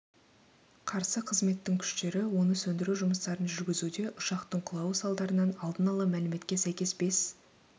қарсы қызметтің күштері оны сөндіру жұмыстарын жүргізуде ұшақтың құлауы салдарынан алдын ала мәліметке сәйкес бес